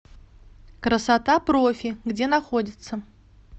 красота профи где находится